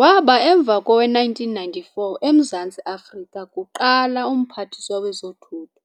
Waba emva kowe-1994 Emzantsi Afrika's kuqala Umphathiswa Wezothutho,